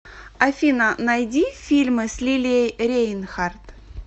афина найди фильмы с лилией рейнхарт